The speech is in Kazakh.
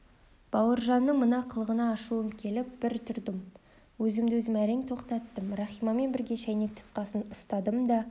бауыржанның мына қылығына ашуым келіп бір тұрдым өзімді-өзім әрең тоқтаттым рахимамен бірге шәйнек тұтқасын ұстадым да